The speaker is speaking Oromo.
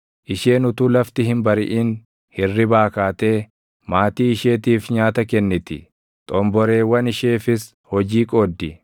Isheen utuu lafti hin bariʼin hirribaa kaatee maatii isheetiif nyaata kenniti; xomboreewwan isheefis hojii qooddi.